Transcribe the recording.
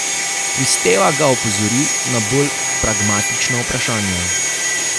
Kristeva ga opozori na bolj pragmatična vprašanja.